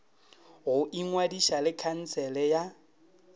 go ingwadiša le khansele ya